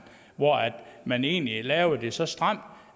hvor man egentlig lavede det så stramt